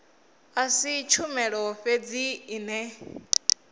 a si tshumelo fhedzi ine